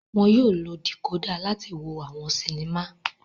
Wọn yóò lo decoder láti wo awọn sinima